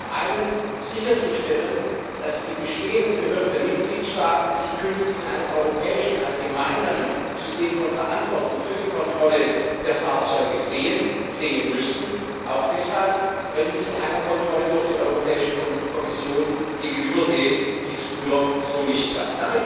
Zum einen sicherzustellen, dass die bestehenden Behörden der Mitgliedstaaten sich künftig in einem gemeinsamen europäischen System von Verantwortung für die Kontrolle der Fahrzeuge sehen, sehen müssen, auch deshalb, weil sie sich einer Kontrolle durch die Europäische Kommission gegenübersehen, die es früher so nicht gab.